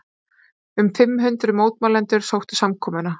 Um fimm hundruð mótmælendur sóttu samkomuna